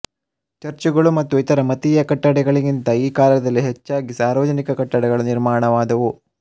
ಚರ್ಚುಗಳು ಮತ್ತು ಇತರ ಮತೀಯ ಕಟ್ಟಡಗಳಿಗಿಂತ ಈ ಕಾಲದಲ್ಲಿ ಹೆಚ್ಚಾಗಿ ಸಾರ್ವಜನಿಕ ಕಟ್ಟಡಗಳು ನಿರ್ಮಾಣವಾದವು